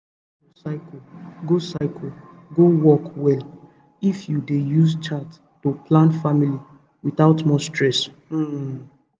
to dey monitor your cycle go cycle go work well if you dey use chart to plan family without too much stress um